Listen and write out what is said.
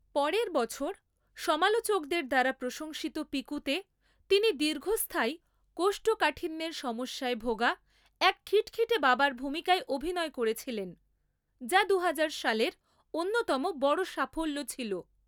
পরের বছর, সমালোচকদের দ্বারা প্রশংসিত 'পিকু'তে তিনি দীর্ঘস্থায়ী কোষ্ঠকাঠিন্যের সমস্যায় ভোগা এক খিটখিটে বাবার ভূমিকায় অভিনয় করেছিলেন, যা দুহাজার সালের অন্যতম বড় সাফল্য ছিল।